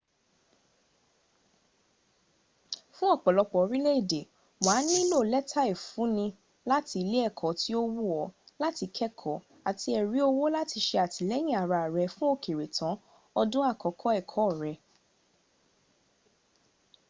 fún ọ̀pọ̀lọpọ̀ orílẹ̀èdè wà á nílò lẹ́tà ìfúnni láti ilé ẹ̀kọ́ tí ó wù ọ́ láti kẹ́ẹ̀kọ́ àti ẹ̀rí owó láti se àtìlẹyìn ara rẹ fú ókéré tán ọdún àkọ́kọ̀ ẹ̀kọ́ rẹ